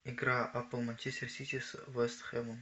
игра апл манчестер сити с вест хэмом